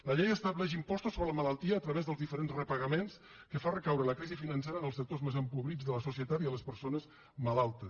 la llei estableix impostos sobre la malaltia a través dels diferents repagaments que fa recaure la crisi financera en els sectors més empobrits de la societat i en les persones malaltes